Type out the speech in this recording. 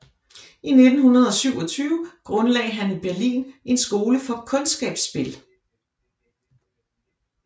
I 1927 grundlagde han i Berlin en skole for kundskabsspil